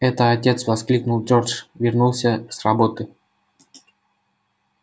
это отец воскликнул джордж вернулся с работы